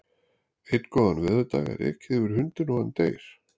Einn góðan veðurdag er ekið yfir hundinn og hann deyr.